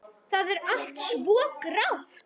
Það er allt svo grátt.